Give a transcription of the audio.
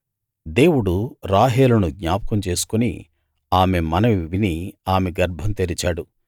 దేవుడు రాహేలును జ్ఞాపకం చేసుకుని ఆమె మనవి విని ఆమె గర్భం తెరిచాడు